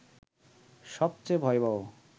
সবচেয়ে ভয়াবহ